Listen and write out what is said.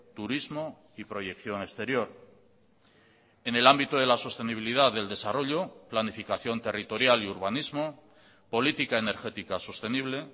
turismo y proyección exterior en el ámbito de la sostenibilidad del desarrollo planificación territorial y urbanismo política energética sostenible